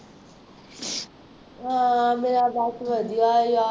ਹਾਂ ਮੇਰਾ ਬਸ ਵਧੀਆ ਯਾਰ